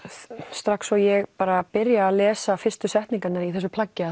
strax og ég byrja að lesa fyrstu setningarnar í þessu plaggi